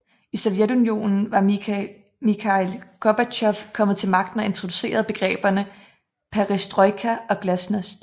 I Sovjetunionen var Mikhail Gorbatjov kommet til magten og introducerede begreberne Perestrojka og Glasnost